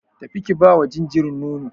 Tafi ki bawa jinjirin nono.